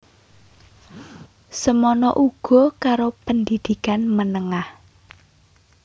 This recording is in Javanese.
Semana uga karo pendidikan menengah